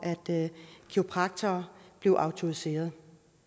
at kiropraktorer blev autoriseret